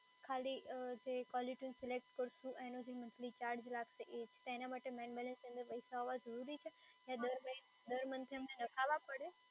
ખાલી અમ જે કોલરટયુન સિલેક્ટ કરશું એનો જે મન્થલી ચાર્જ લાગશે એ જ, તો એના માટે મેઈન બેલેન્સમાં પૈસા હોવા જરૂરી છે?